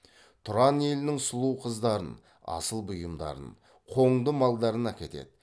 тұран елінің сұлу қыздарын асыл бұйымдарын қоңды малдарын әкетеді